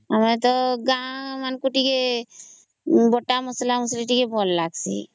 ଆମେ ତ ଗାଁ କୁ ଟିକେ ବଟା ମସଲା ଟିକେ ଭଲ ଲାଗୁଚି